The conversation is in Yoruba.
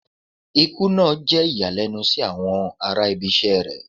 Ikú naa jẹ iyalẹnu si awọn ara ibisẹ́ rẹ